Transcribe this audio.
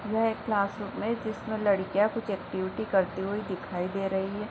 यह एक class room है जिसमें लड़िकयाँ कुछ एक्टिविटी करते हुए दिखाई दे रही हैं।